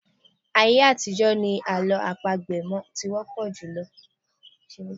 Ayé àtijọ́ ni àlọ́ àpagbè ti wọ́pọ̀ jùlọ.